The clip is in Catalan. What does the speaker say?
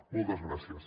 moltes gràcies